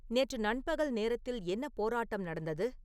நேற்று நண்பகல் நேரத்தில் என்ன போராட்டம் நடந்தது